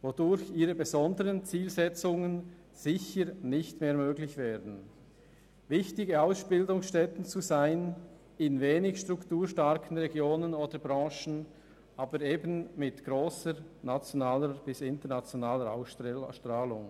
Dadurch könnten ihre besonderen Zielsetzungen sicher nicht mehr erreicht werden, welche darin bestehen, wichtige Ausbildungsstätten in strukturschwachen Regionen oder Branchen zu sein, die über eine grosse nationale oder sogar internationale Ausstrahlung verfügen.